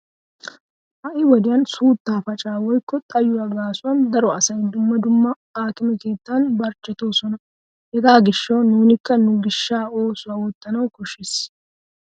Ha"i wodiyan suuttaa. pacaa woykko xayuwa gaasuwan daro asay dumma dumma aakime keettan barchchetoosona. Hegaa gishshawu nuunikka nu gishsha oosuwa oottana koshshees.